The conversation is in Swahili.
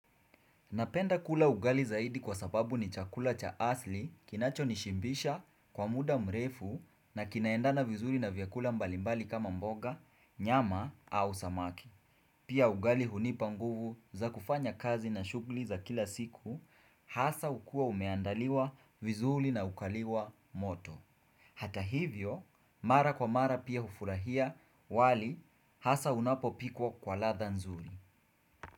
Napenda kula ugali zaidi kwa sababu ni chakula cha asili kinacho nishimbisha kwa muda mrefu na kinaendana vizuri na vyakula mbalimbali kama mboga, nyama au samaki. Pia ugali hunipa nguvu za kufanya kazi na shughuli za kila siku, hasa hukua umeandaliwa vizuri na ukaliwa moto. Hata hivyo, mara kwa mara pia hufurahia wali hasa unapo pikwa kwa ladha nzuri.